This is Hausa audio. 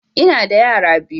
Ina da yara biyu